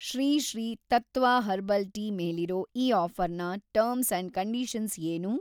Shri Sri Tattva herbal tea ಮೇಲಿರೋ ಈ ಆಫ಼ರ್‌ನ ಟರ್ಮ್ಸ್‌ ಅಂಡ್‌ ಕಂಡೀಷನ್ಸ್‌ ಏನು?